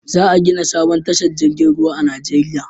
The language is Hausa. Za a gina sabon tashar jirgin ruwa a Najeriya